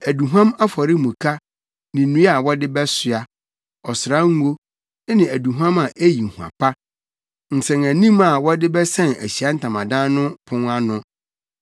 aduhuam afɔremuka ne nnua a wɔde bɛsoa; ɔsrango ne aduhuam a eyi hua pa, nsɛnanim a wɔde bɛsɛn Ahyiae Ntamadan no pon ano;